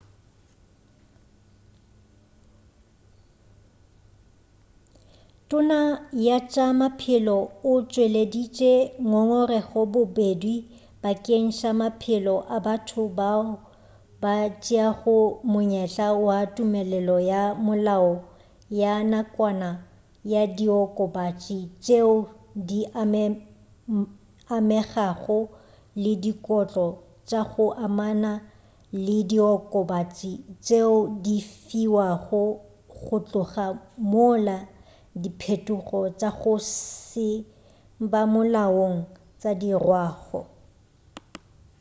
tona ya tša maphelo o tšweleditše ngongorego bobedi bakeng sa maphelo a batho bao ba tšeago monyetla wa tumelelo ya molao ya nakwana ya diokobatši tšeo di amegago le dikotlo tša go amana le diokobatši tšeo di fiwago go tloga mola diphetogo tša go se ba molaong di dirwago